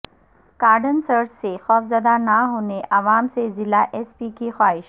cordon search سے خوفزدہ نہ ہونے عوام سے ضلع ایس پی کی خواہش